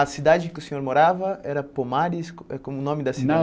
A cidade que o senhor morava era Pomares com eh o nome da cidade?